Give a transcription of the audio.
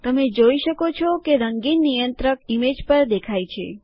તમે જોઈ શકો છો કે રંગીન નિયંત્રક ઇમેજ પર દેખાય છે